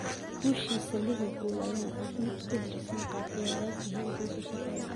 Guushiisa Liverpool ayaa ah mid ku dhisan qaab ciyaareed heerkiisu sarreeyo.